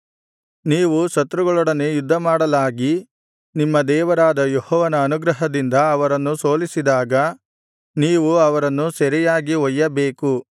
ನೀವು ಶತ್ರುಗಳೊಡನೆ ಯುದ್ಧಮಾಡಲಾಗಿ ನಿಮ್ಮ ದೇವರಾದ ಯೆಹೋವನ ಅನುಗ್ರಹದಿಂದ ಅವರನ್ನು ಸೋಲಿಸಿದಾಗ ನೀವು ಅವರನ್ನು ಸೆರೆಯಾಗಿ ಒಯ್ಯಬೇಕು